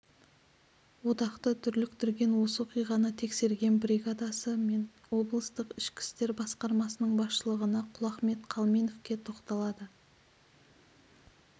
одақты дүрліктірген осы оқиғаны тексерген бригадасы мен облыстық ішкі істер басқармасының басшылығына құлахмет қалменовке тоқталады